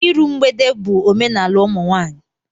Iru mgbede bụ omenala ụmụnwaanyị